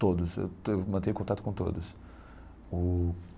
todos, eu te eu mantenho contato com todos o.